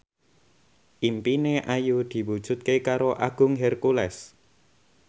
impine Ayu diwujudke karo Agung Hercules